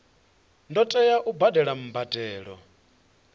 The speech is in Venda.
ḓo tea u badela mbadelo